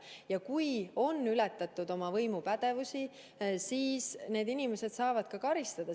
Ja kui on ületatud oma võimupädevust, siis need inimesed saavad karistada.